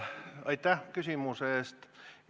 Aitäh küsimuse eest!